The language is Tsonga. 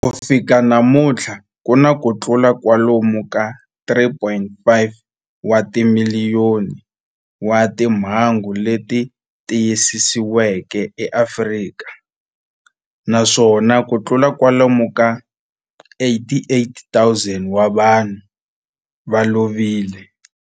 Ku fika namuntlha ku na kutlula kwalomu ka 3.5 wa timiliyoni wa timhangu leti tiyisisiweke eAfrika, naswona kutlula kwalomu ka 88,000 wa vanhu va lovile.